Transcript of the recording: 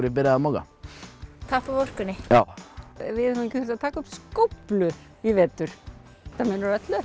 ég byrjaði að moka tappa af orkunni já við höfum ekki þurft að taka upp skóflu í vetur þetta munar öllu